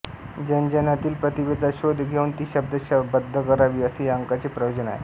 जनजनातील प्रतिभेचा शोध घेऊन ती शब्दबद्ध करावी असे या अंकाचे प्रयोजन आहे